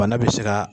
Bana bɛ se ka